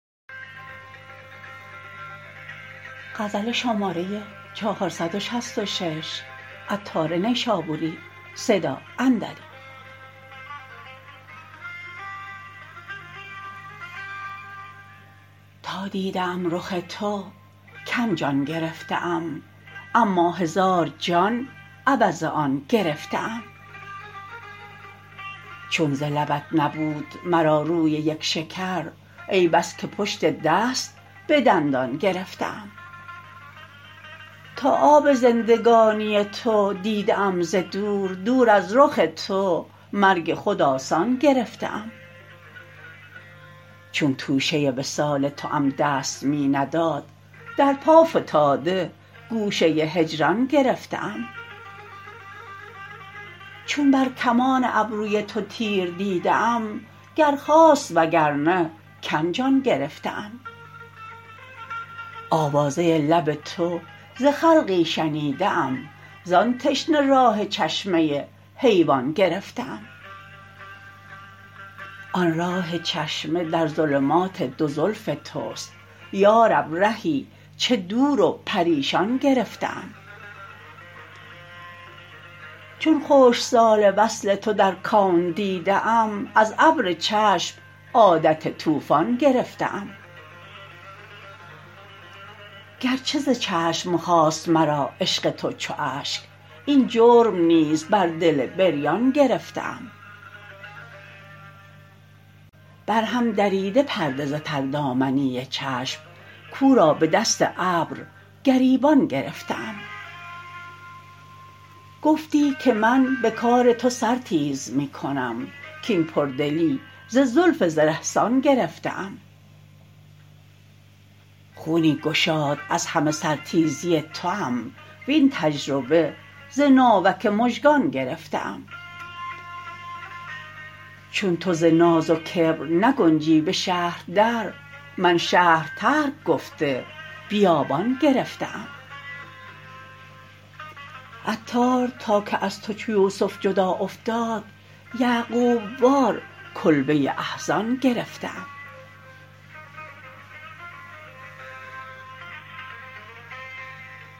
تا دیده ام رخ تو کم جان گرفته ام اما هزار جان عوض آن گرفته ام چون ز لبت نبود مرا روی یک شکر ای بس که پشت دست به دندان گرفته ام تا آب زندگانی تو دیده ام ز دور دور از رخ تو مرگ خود آسان گرفته ام چون توشه وصال توام دست می نداد در پا فتاده گوشه هجران گرفته ام چون بر کمان ابروی تو تیر دیده ام گر خواست وگرنه کم جان گرفته ام آوازه لب تو ز خلقی شنیده ام زان تشنه راه چشمه حیوان گرفته ام آن راه چشمه در ظلمات دو زلف توست یارب رهی چه دور و پریشان گرفته ام چون خشک سال وصل تو در کون دیده ام از ابر چشم عادت طوفان گرفته ام گرچه ز چشم خاست مرا عشق تو چو اشک این جرم نیز بر دل بریان گرفته ام برهم دریده پرده ز تر دامنی چشم کو را به دست ابر گریبان گرفته ام گفتی که من به کار تو سر تیز می کنم کین پر دلی ز زلف زره سان گرفته ام خونی گشاد از همه سر تیزی توام وین تجربه ز ناوک مژگان گرفته ام چون تو ز ناز و کبر نگنجی به شهر در من شهر ترک گفته بیابان گرفته ام عطار تا که از تو چو یوسف جدا افتاد یعقوب وار کلبه احزان گرفته ام